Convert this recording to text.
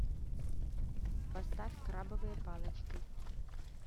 поставь крабовые палочки